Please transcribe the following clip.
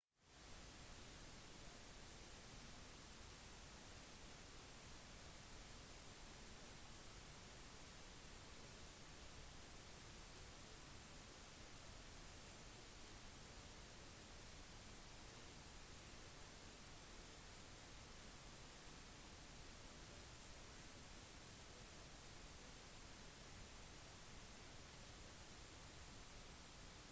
vi fikk verdifull innsikt i fortiden og noen av personlighetene som påvirket organisasjonens kultur på godt og vondt da vi lyttet til enkeltpersoner som delte sine egne historier og historiene til familien og organisasjonen